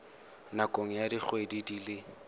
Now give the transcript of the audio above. nakong ya dikgwedi di le